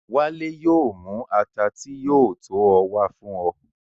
Wálé yóò mú àtà tí yóò tó o wà fún o.